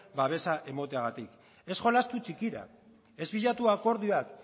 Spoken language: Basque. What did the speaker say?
babesa emateagatik ez jolastu txikira ez bilatu akordioak